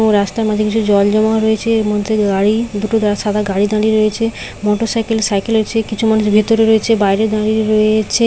এবং রাস্তার মাঝে কিছু জল জমা রয়েছে এর মধ্যে গাড়ি দুটো সাদা গাড়ি দাঁড়ি রয়েছে মোটরসাইকেল সাইকেল এর চেয়ে কিছু মানুষ ভেতরে রয়েছে বাইরে দাঁড়িয়ে রয়ে- এ- ছে।